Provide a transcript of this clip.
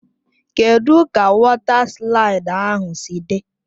Kedụ ka wọta slaịdị ahụ si dị?